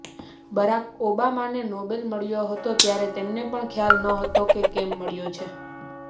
Barack ઓબામાને Nobel મળ્યો હતો ત્યારે તેમને પણ ખ્યાલ નહોતો કે કેમ મળ્યો છે